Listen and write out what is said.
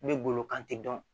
Ne bolo kan te dɔn